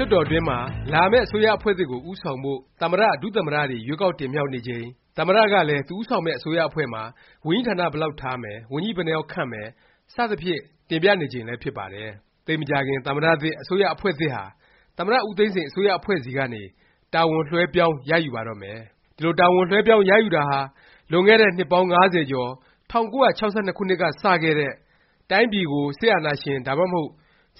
လွှတ်တော်တွင်းမှာ လာမယ့် အစိုးရအဖွဲ့သစ်ကို ဦးဆောင်ဖို့ သမ္မတ၊ ဒုသမ္မတ တွေ ရွေးကောက်တင်မြှောက်နေချိန်၊ သမ္မတ ကလည်း သူဦးဆောင်မယ့် အစိုးရအဖွဲ့မှာ ဝန်ကြီးဌာန ဘယ်လောက်ထားမယ်၊ ဝန်ကြီး ဘယ်နှစ်ယောက်ခန့်မယ် စသဖြင့် တင်ပြနေချိန်လည်း ဖြစ်ပါတယ်။ သိပ်မကြာခင် သမ္မတသစ် အစိုးရအဖွဲ့သစ်ဟာ သမ္မတ ဦးသိန်းစိန် အစိုးရအဖွဲ့ဆီကနေ တာဝန်လွဲှပြောင်းရယူပါတော့မယ်။ ဒီလို တာဝန်လွဲှပြောင်း ရယူတာဟာ လွန်ခဲ့တဲ့ နှစ်ပေါင်း ၅၀ ကျော် ၁၉၆၂ ခုနှစ်က စခဲ့တဲ့ တိုင်းပြည်ကို စစ်အာဏာရှင် ဒါမှမဟုတ်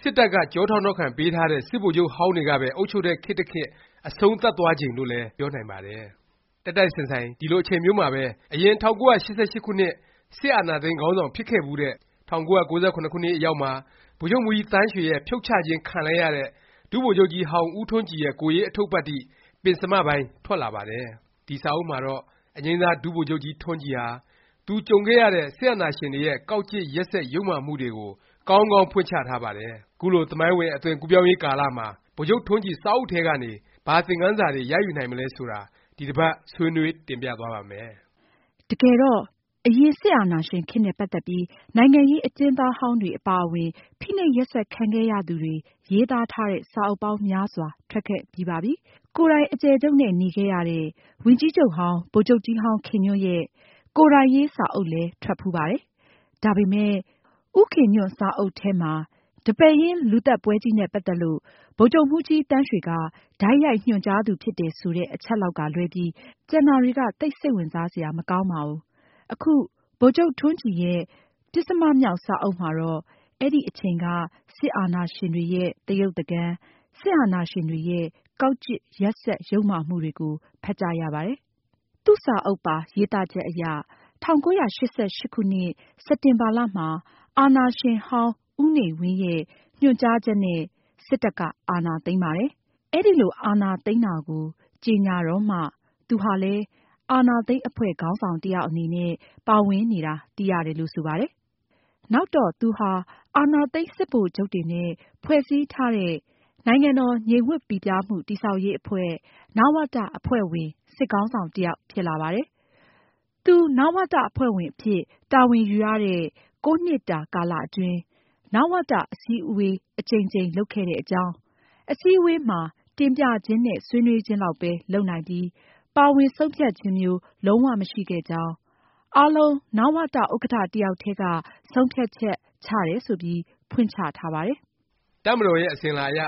စစ်တပ်က ကျောထောက်နောက်ခံပေးထားတဲ့ စစ်ဗိုလ်ချုပ်ဟောင်းတွေကပဲ အုပ်ချုပ်တဲ့ ခေတ်တစ်ခေတ် အဆုံးသတ်သွားချိန်လို့လည်း ပြောနိုင်ပါတယ်။ တိုက်တိုက်ဆိုင်ဆိုင် ဒီလို အချိန်မျိုးမှာပဲ အရင် ၁၉၈၈ ခုနှစ် စစ်အာဏာသိမ်းခေါင်းဆောင် ဖြစ်ခဲ့ဖူးတဲ့၊ ၁၉၉၇ ခုနှစ်အရောက်မှာ ဗိုလ်ချုပ်မှူးကြီးသန်းရွှေရဲ့ ဖြုတ်ချခြင်း ခံလိုက်ရတဲ့ ဒုဗိုလ်ချုပ်ကြီးဟောင်း ဦးထွန်းကြည်ရဲ့ ကိုယ်ရေး အထုပ္ပတ္တိ ပဉ္စမပိုင်း ထွက်လာပါတယ်။ ဒီ စာအုပ်မှာတော့ အငြိမ်းစား ဒုဗိုလ်ချုပ်ကြီးထွန်းကြည်ဟာ သူကြုံခဲ့ရတဲ့ စစ်အာဏာရှင်တွေရဲ့ ကောက်ကျစ် ရက်စက် ယုတ်မာမှုတွေကို ကောင်းကောင်း ဖွင့်ချထားပါတယ်။ ခုလို သမိုင်းဝင် အသွင်ကူးပြောင်းရေးကာလမှာ ဗိုလ်ချုပ်ထွန်းကြည် စာအုပ်ထဲကနေ ဘာသင်ခန်းစာတွေ ရယူနိုင်မလဲ ဆိုတာ ဒီတစ်ပါတ် ဆွေးနွေး တင်ပြသွားပါ့မယ်။ တကယ်တော့ အရင် စစ်အာဏာရှင်ခေတ်နဲ့ ပတ်သက်ပြီး နိုင်ငံရေး အကျဉ်းသားဟောင်းတွေ အပါအဝင် ဖိနှိပ်ရက်စက် ခံခဲ့ရသူတွေ ရေးသားတဲ့ စာအုပ်ပေါင်းများစွာ ထွက်ခဲ့ပြီးပါပြီ။ ကိုယ်တိုင် အကျယ်ချုပ်နဲ့ နေခဲ့ရတဲ့ ဝန်ကြီးချုပ်ဟောင်း ဗိုလ်ချုပ်ကြီးဟောင်း ခင်ညွန့်ရဲ့ ကိုယ်တိုင်ရေး စာအုပ်လည်း ထွက်ဖူးပါတယ်။ ဒါပေမယ့် ဦးခင်ညွန့်စာအုပ်ထဲမှာ ဒီပဲရင်း လူသတ်ပွဲကြီးနဲ့ ပတ်သက်လို့ ဗိုလ်ချုပ်မှူးကြီးသန်းရွှေက တိုက်ရိုက် ညွှန်ကြားသူ ဖြစ်တယ်ဆိုတဲ့ အချက်လောက်က လွဲပြီး ကျန်တာတွေက သိပ် စိတ်ဝင်စားစရာ မကောင်းပါဘူး။ အခု ဗိုလ်ချုပ်ထွန်းကြည်ရဲ့ ပဉ္စမမြောက် စာအုပ်မှာတော့ အဲဒီအချိန်က စစ်အာဏာရှင်တွေရဲ့ သရုပ်သကန်၊ စစ်အာဏာရှင်တွေရဲ့ ကောက်ကျစ် ရက်စက် ယုတ်မာမှုတွေကိုပါ ဖတ်ကြရပါတယ်။ သူ့စာအုပ်ပါ ရေးသားချက်အရ ၁၉၈၈ ခုနှစ် စက်တင်ဘာမှာ အာဏာရှင်ဟောင်း ဦးနေဝင်းရဲ့ ညွှန်ကြားချက်နဲ့ စစ်တပ်က အာဏာသိမ်းပါတယ်။ အဲလို အာဏာသိမ်းတာကို ကြေညာတော့မှ သူဟာလည်း အာဏာသိမ်း အဖွဲ့ ခေါင်းဆောင် တစ်ယောက်အနေနဲ့ ပါဝင်နေတာ သိရတယ်လို့ ဆိုပါတယ်။ နောက်တော့ သူဟာ အာဏာသိမ်း စစ်ဗိုလ်ချုပ်တွေနဲ့ ဖွဲ့စည်းထားတဲ့ နိုင်ငံတော် ငြိမ်ဝပ်ပိပြားမှု တည်ဆောက်ရေး အဖွဲ့ နဝတ အဖွဲ့ဝင် စစ်ခေါင်းဆောင် တစ်ယောက် ဖြစ်လာပါတယ်။ သူနဝတ အဖွဲ့ဝင် အဖြစ် တာဝန်ယူရတဲ့ ၉ နှစ်တာကာလ အတွင်း နဝတ အစည်းအဝေး အကြိမ်ကြိမ် လုပ်ခဲ့တဲ့ အကြောင်း၊ အစည်းအဝေးမှာ တင်ပြခြင်းနဲ့ ဆွေးနွေးခြင်းလောက်ပဲ လုပ်နိုင်ပြီး ပါဝင် ဆုံးဖြတ်ခြင်းမျိုး လုံး၀ မရှိခဲ့ကြောင်း၊ အားလုံး နဝတ ဥက္ကဌ တစ်ယောက်တည်းက ဆုံးဖြတ်ချက်ချတယ် ဆိုပြီး ဖွင့်ချထားပါတယ်။ တပ်မတော်ရဲ့ အစဉ်အလာအရ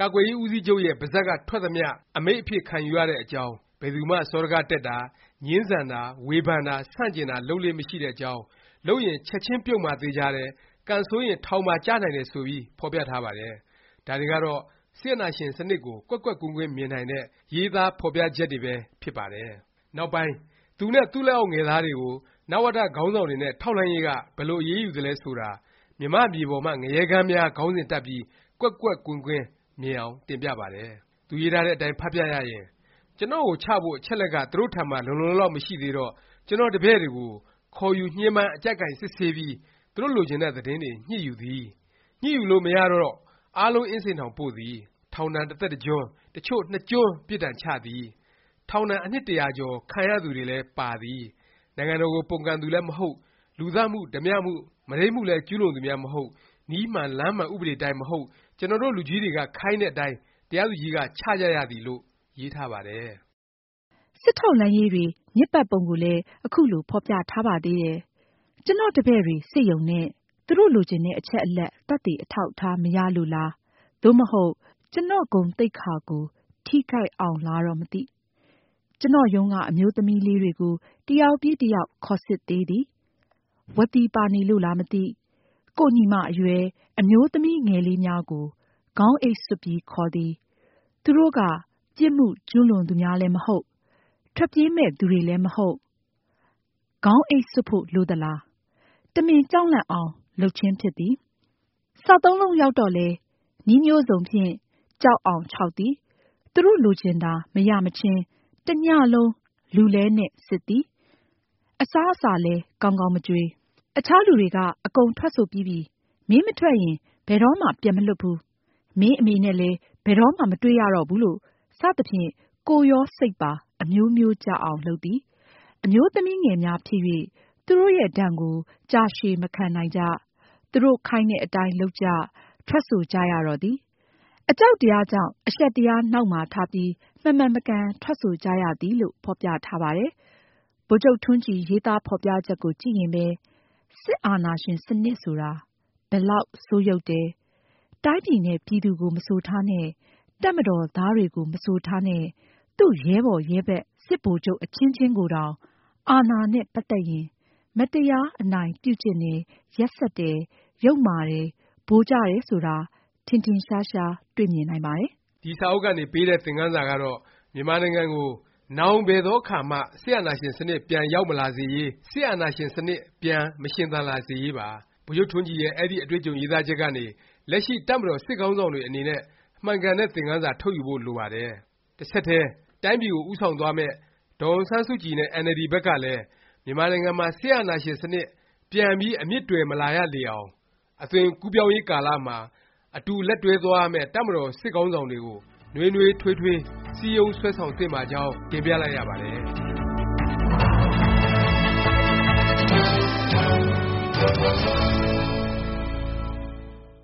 ကာကွယ်ရေး ဦးစီးချုပ်ရဲ့ ပါးစပ်က ထွက်သမျှ အမိန့်အဖြစ် ခံယူရတဲ့အကြောင်း၊ ဘယ်သူမှ စောဒက တက်တာ၊ ငြင်းဆန်တာ၊ ဝေဖန်တာ၊ ဆန့်ကျင်တာ လုပ်လေ့ မရှိတဲ့အကြောင်း၊ လုပ်ရင် ချက်ခြင်း ပြုတ်မှာသေခြာတယ်။ ကံဆိုးရင် ထောင်ပါ ကျနိုင်တယ် ဆိုပြီး ဖော်ပြထားပါတယ်။ ဒါတွေကတော့ စစ်အာဏာရှင် စနစ်ကို ကွက်ကွက်ကွင်းကွင်း မြင်နိုင်တဲ့ ရေးသား ဖော်ပြချက်တွေပဲ ဖြစ်ပါတယ်။ နောက်ပိုင်း သူနဲ့ သူ့လက်အောက်ငယ်သားတွေကို နဝတ ခေါင်းဆောင်တွေနဲ့ ထောက်လှမ်းရေးက ဘယ်လို အရေးယူသလဲ ဆိုတာ “ မြန်မာ့မြေပေါ်မှ ငရဲခန်းများ” ခေါင်းစဉ်တပ်ပြီး ကွက်ကွက်ကွင်းကွင်း မြင်အောင် တင်ပြပါတယ်။ သူရေးထားတဲ့အတိုင်း ဖတ်ပြရရင် “ကျွန်တော့်ကို ချဖို့ အချက်အလက်က သူတို့ထံမှာ လုံလုံလောက်လောက် မရှိသေးတော့ ကျွန်တော့်တပည့်တွေကို ခေါ်ယူ ညှဉ်းပန်း အကျပ်ကိုင်စစ်ဆေးပြီး သူတို့လိုချင် တဲ့ သတင်းတွေ ညှစ်ယူသည်။ ညှစ်လို့မရတော့ အားလုံး အင်းစိန်ထောင်ပို့သည်။ ထောင်ဒဏ် တစ်သက်တစ်ကျွန်း၊ အချို့ နှစ်ကျွန်း ပြစ်ဒဏ် ချသည်။ ထောင်ဒဏ် အနှစ်တစ်ရာကျော် ခံရသူ တွေလည်း ပါသည်။ နိုင်ငံတော်ကို ပုန်ကန်သူ လည်း မဟုတ်၊ လူသတ်မှု၊ ဓားပြမှု၊ မုဒိမ်းမှုလည်း ကျူးလွန်သူများ မဟုတ်။ နည်းမှန်လမ်းမှန် ဥပဒေ အတိုင်း မဟုတ်။ ကျွန်တော်တို့ လူကြီးတွေက ခိုင်းတဲ့အတိုင်း တရားသူကြီးက ချကြရသည်။” လို့ ရေးထားပါတယ်။ စစ်ထောက်လှမ်းရေးတွေ ညစ်ပတ်ပုံကိုလည်း ခုလို ဖော်ပြထားပါသေးတယ်။ “ကျွန်တော့်တပည့်တွေ စစ်ရုံနဲ့၊ သူတို့လိုချင်တဲ့ အချက်အလက်၊ သက်သေအထောက်အထား မရလို့လား သို့မဟုတ် ကျွန်တော့်ဂုဏ်သိက္ခာ ကို ထိခိုက်အောင်လားတော့ မသိ။ ကျွန်တော့် ရုံးက အမျိုးသမီးလေးတွေကို တစ်ယောက်ပြီး တစ်ယောက် ခေါ်စစ်သေးသည်။” “ဝသီပါနေလို့လား မသိ။ ကိုယ့်ညီမအရွယ်၊ အမျိုးသမီးငယ်လေးများကို ခေါင်းအိတ်စွပ်ပြီး ခေါ်သည်။ သူတို့က ပြစ်မှုကျူးလွန်သူများလည်း မဟုတ်။ ထွက်ပြေးမည့်သူလည်း မဟုတ်။ ခေါင်းအိတ်စွပ်ဖို့ လိုသလား။ တမင်ကြောက်လန့်အောင် လုပ်ခြင်းဖြစ်သည်။ စသုံးလုံးရောက်တော့လည်း နည်းမျိုးစုံဖြင့် ကြောက်အောင် ခြောက်သည်။ သူတို့လိုချင်တာ မရမချင်း တစ်ညလုံး လူလဲနှင့် စစ်သည်။ အစားအစာလည်း ကောင်းကောင်း မကျွေး။ အခြားလူတွေက အကုန်ထွက်ဆိုပြီးပြီ။ မင်းမထွက်ရင် ဘယ်တော့မှ ပြန်မလွှတ်ဘူး။ မင်းအမေနဲ့လည်း ဘယ်တော့မှ မတွေ့ရတော့ ဘူးလို့ စသည်ဖြင့် ကိုယ်ရောစိတ်ပါ အမျိုးမျိုး ကျအောင် လုပ်သည်။ အမျိုးသမီးငယ်များဖြစ် ၍ သူတို့ရဲ့ဒဏ်ကို ကြာရှည်မခံနိုင်ကြ။ သူတို့ ခိုင်းတဲ့အတိုင်း လုပ်ကြ ထွက်ဆိုကြရတော့သည်။ အကြောက်တရားကြောင့် အရှက်တရားနောက် မှာထားပြီး မမှန်မကန် ထွက်ဆိုကြရသည်။” လို့ ဖော်ပြထားပါတယ်။ ဗိုလ်ချုပ်ထွန်းကြည် ရေးသားဖော်ပြချက်ကို ကြည့်ရင်ပဲ စစ်အာဏာရှင် စနစ်ဆိုတာ ဘယ်လောက် ဆိုးယုတ်တယ်၊ တိုင်းပြည်နဲ့ ပြည်သူကို မဆိုထားနဲ့ တပ်မတော်သားတွေကို မဆိုထားနဲ့၊ သူ့ ရဲဘော်ရဲဘက် စစ်ဗိုလ်ချုပ် အချင်းချင်းကိုတောင် အာဏာနဲ့ ပတ်သက်ရင် မတရား အနိုင်ပြုကျင့်တယ်၊ ရက်စက်တယ်၊ ယုတ်မာတယ်၊ ဗိုလ်ကျတယ် ဆိုတာ ထင်ထင်ရှားရှား တွေ့မြင်နိုင်ပါတယ်။ ဒီစာအုပ်ကနေ ပေးတဲ့ သင်ခန်းစာကတော့ မြန်မာနိုင်ငံကို နောင် ဘယ်သောအခါမှ စစ်အာဏာရှင် စနစ် ပြန် ရောက်မလာစေရေး၊ စစ်အာဏာရှင် စနစ် ပြန် မရှင်သန်လာရေးပါ။ ဗိုလ်ချုပ်ထွန်းကြည်ရဲ့ အဲဒီ အတွေ့အကြုံရေးသားချက်ကနေ လက်ရှိ တပ်မတော် စစ်ခေါင်းဆောင်တွေ အနေနဲ့ မှန်ကန်တဲ့ သင်ခန်းစာ ထုတ်ယူဖို့ လိုပါတယ်၊ တစ်ဆက်တည်း တိုင်းပြည်ကို ဦးဆောင်သွားမယ့် ဒေါ်အောင်ဆန်းစုကြည်နဲ့ အင်န်အယ်လ်ဒီ ဘက်ကလည်း မြန်မာနိုင်ငံမှာ စစ်အာဏာရှင် စနစ် ပြန်ပြီး အမြစ်တွယ်မလာရလေအောင် အသွင်ကူးပြောင်းရေးကို အတူလက်တွဲ သွားရမယ့် တပ်မတော် စစ်ခေါင်းဆောင်တွေကို နွေးနွေးထွေးထွေး စည်းရုံး ဆွဲဆောင် သင့်ပါကြောင်း တင်ပြလိုက်ရပါတယ်။